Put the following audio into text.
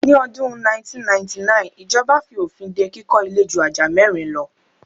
Ni ọdún 1999 ijọba fi òfin dé kíkọ ilé ju ajá mẹ́rin lo